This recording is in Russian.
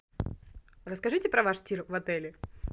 расскажите про ваш тир в отеле